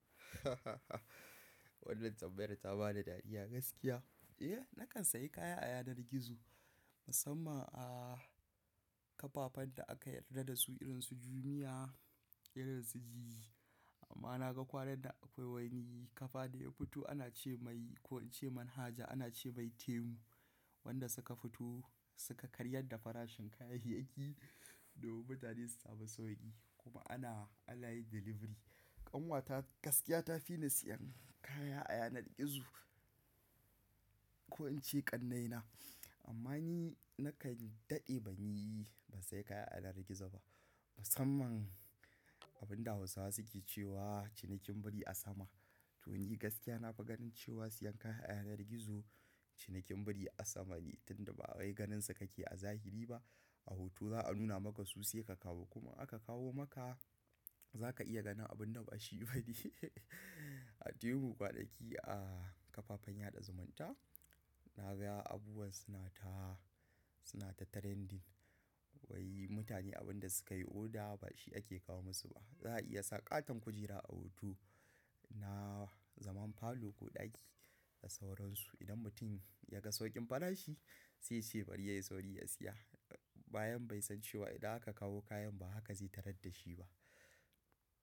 Wannan tambayar ta bani dariya gaskiya. Eh, na kan sayi kaya a yanar gizo, musamman a kafafen da aka yarda da su irin su Jumia, irin su Jiji. Amma na ga kwanan nan akwai wani kafa da ya fito, ana ce mai ko ce manhaja ana ce mai Temu wanda suka fito suka karyar da farashin kayayyaki domin mutane su samu sauki kuma ana, ana yi delivery. Ƙanwata gaskiya ta fi ni siyan kaya a yanar gizo ko in ce ƙannaina. Amma ni na kan daɗe ban yi, ban sayi kaya a yanar gizo ba. Musamman abin da Hausawa suke cewa cinikin biri a sama. To ni gaskiya na fa ganin cewa siyan kaya a yanar gizo cinikin biri a sama ne, tun da ba wai ganinsa kake a zahiri ba. A hoto za'a nuna maka su sai ka kawo kuma aka kawo maka za ka iya ganin abin da ba shi bani. A tebur ko a ɗaki a kafafen yaɗa zumunta, na ga abubuwa suna ta, suna ta trending. Wai mutane abin da suka yi oda ba shi ake kawo musu ba. Za a iya sa ƙaton kujera a hoto na zaman falo ko ɗaki da sauransu. Idan mutum ya ga sauƙin farashi sai ya ce bari yayi sauri ya siya, bayan bai san cewa idan aka kawo kayan ba haka zai tarar da shi ba.